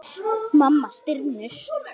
Mamma stynur.